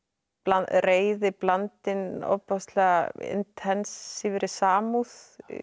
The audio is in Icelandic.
reiði blandin ofboðslega samúð